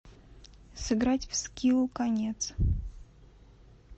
сыграть в скилл конец